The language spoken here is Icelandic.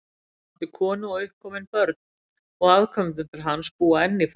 Hann átti konu og uppkomin börn, og afkomendur hans búa enn í Frakklandi.